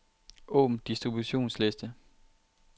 Åbn distributionsliste.